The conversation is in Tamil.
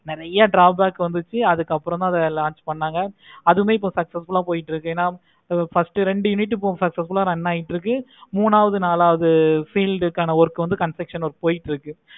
நெறைய drawback வந்துச்சி அதுக்கு அப்பறம் தான் launch பண்ணாங்க அதுவும் இப்போ நல்ல போய்கிட்டு இருக்கு. first ரெண்டு unit run ஆகிட்டு இருக்கு. மூணாவது நாலாவது field காண work வந்து construction போய்கிட்டு இருக்குது.